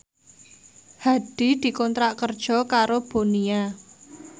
Hadi dikontrak kerja karo Bonia